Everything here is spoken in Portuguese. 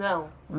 Não?